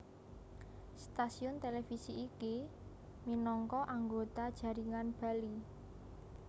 Stasiun televisi iki minangka anggota jaringan Bali